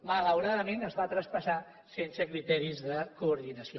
malauradament es va traspassar sense criteris de coordinació